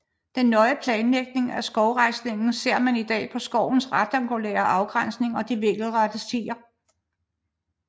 Den nøje planlægning af skovrejsningen ser man i dag på skovens rektangulære afgrænsning og de vinkelrette stier